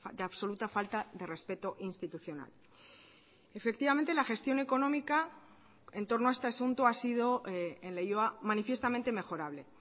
de absoluta falta de respeto institucional efectivamente la gestión económica en torno a este asunto ha sido en leioa manifiestamente mejorable